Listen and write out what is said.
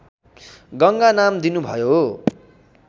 गङ्गा नाम दिनुभयो